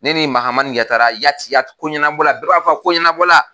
Ne ni Mahamani Yatara Yati Yati ko ɲɛnabɔ la bɛɛ b'a fɔ ko ɲɛnabɔ la.